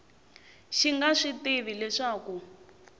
xi nga swi tivi leswaku